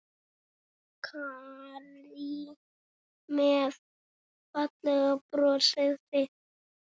Karí með fallega brosið sitt.